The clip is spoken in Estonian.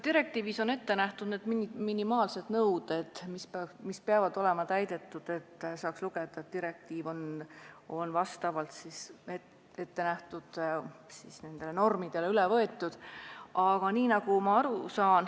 Direktiivis on ette nähtud minimaalsed nõuded, mis peavad olema täidetud, et saaks öelda, et direktiiv on vastavalt ettenähtud normidele üle võetud.